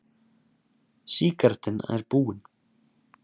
Sígarettan er búin.